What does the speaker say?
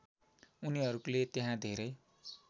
उनीहरूले त्यहाँ धेरै